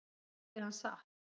Sagði hann satt?